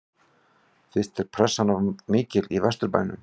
Finnst þér pressan of mikil í Vesturbænum?